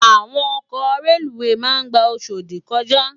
Àwón òkò rélúwé má n gbá Oshodi kòjá